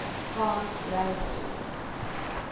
cant languages